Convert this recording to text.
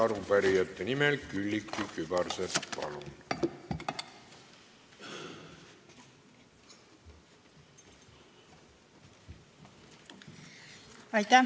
Arupärijate nimel Külliki Kübarsepp, palun!